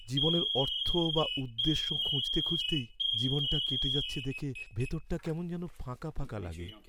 জীবনের অর্থ বা উদ্দেশ্য খুঁজতে খুঁজতেই জীবনটা কেটে যাচ্ছে দেখে ভেতরটা কেমন যেন ফাঁকা ফাঁকা লাগে।